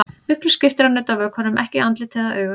Miklu skiptir að nudda vökvanum ekki í andlit eða augu.